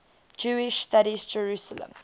jewish studies jerusalem